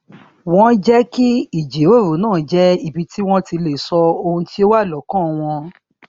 wón jé kí ìjíròrò náà jẹ ibi tí wón ti lè sọ ohun tí ó wà lọkàn wón wà lọkàn wón